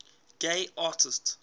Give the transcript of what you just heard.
gay artists